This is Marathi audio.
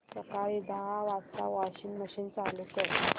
सकाळी दहा वाजता वॉशिंग मशीन चालू कर